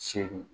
Seegin